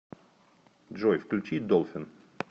джой включи долфин